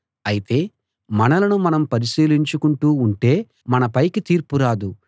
అయితే మనలను మనం పరిశీలించుకుంటూ ఉంటే మన పైకి తీర్పు రాదు